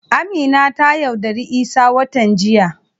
Amina ta yaudari isah watan jiya.